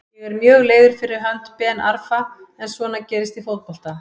Ég er mjög leiður fyrir hönd Ben Arfa en svona gerist í fótbolta.